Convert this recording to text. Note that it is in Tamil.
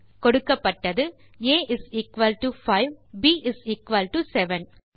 கொடுக்கப்பட்டது ஆ இஸ் எக்குவல் டோ 5 மற்றும் ப் இஸ் எக்குவல் டோ 7